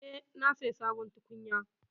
Eh, na saya sabon tukunya.